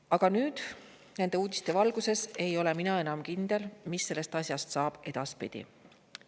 Aga nüüd, nende uudiste valguses ei ole mina enam kindel, mis sellest asjast saab edaspidi.